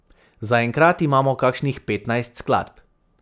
Za enkrat imamo kakšnih petnajst skladb.